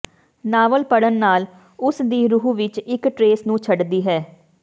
novel ਪੜ੍ਹਨ ਨਾਲ ਉਸ ਦੀ ਰੂਹ ਵਿੱਚ ਇੱਕ ਟਰੇਸ ਨੂੰ ਛੱਡਦੀ ਹੈ